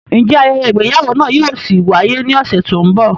Njẹ ayẹyẹ igbeyawo náà yóò ṣi waye ni ọsẹ ti n bọ?